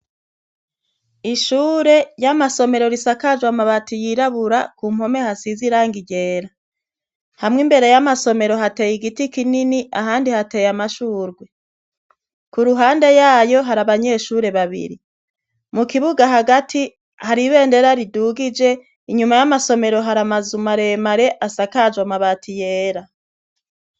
ishure y'amasomero risakajwe amabati yirabura ku mpome hasiz irangi ryera hamwe imbere y'amasomero hateye igiti kinini ahandi hateye amashurwe ku ruhande yayo hari abanyeshure babiri mu kibuga hagati hari ibendera ridugije inyuma y'amasomero hari amazu mare mare asakajwe amabati yera